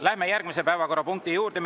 Läheme järgmise päevakorrapunkti juurde.